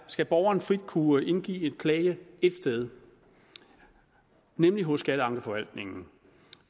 skal borgeren frit kunne indgive en klage ét sted nemlig hos skatteankeforvaltningen